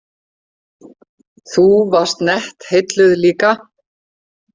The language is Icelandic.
Þú varst nett heilluð líka.